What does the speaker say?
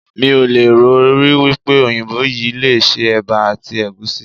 Mí ò lè rò rí wípé òyìnbó yìí le se Ẹ̀bà àti Ẹ̀gúsí.